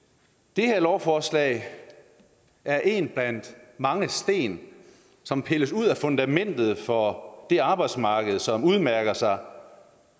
det her lovforslag er en blandt mange sten som pilles ud af fundamentet for det arbejdsmarked som udmærker sig